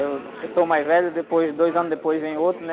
Eu sou o mais velho, depois, dois anos depois vem outro, né?